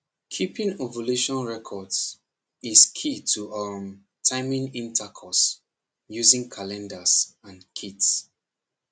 keeping ovulation records is key to um timing intercourse using calendars and kits